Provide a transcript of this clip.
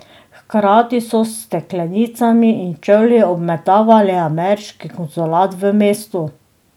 Hkrati so s steklenicami in čevlji obmetavali ameriški konzulat v mestu.